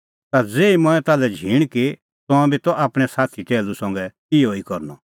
ता ज़ेही मंऐं ताल्है झींण की तंऐं बी त आपणैं साथी टैहलू संघै इहअ ई करनअ